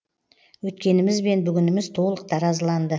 өткеніміз мен бүгініміз толық таразыланды